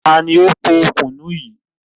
Ta ni ó pò kùnú yìí?